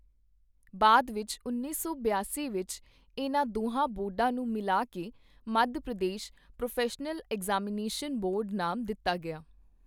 ਬਾਅਦ ਵਿੱਚ ਉੱਨੀ ਸੌ ਬਿਆਸੀ ਵਿੱਚ ਇਹਨਾਂ ਦੋਹਾਂ ਬੋਰਡਾਂ ਨੂੰ ਮਿਲਾ ਕੇ Madhya Pradesh professional examination board ਨਾਮ ਦਿੱਤਾ ਗਿਆ।